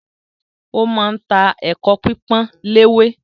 Ó ma ń ta “ ẹ̀kọ pípọ́n léwé ”